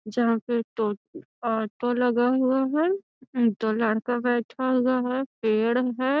जहाँ पर दो ऑटो लगा हुआ है दो लड़का बैठा हुआ है पेड़ है।